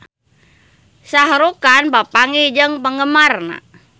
Shah Rukh Khan papanggih jeung penggemarna